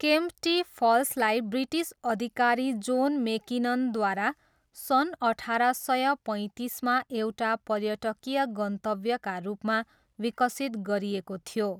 केम्प्टी फल्सलाई ब्रिटिस अधिकारी जोन मेकिननद्वारा सन् अठार सय पैँतिसमा एउटा पर्यटकीय गन्तव्यका रूपमा विकसित गरिएको थियो।